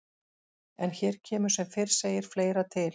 En hér kemur sem fyrr segir fleira til.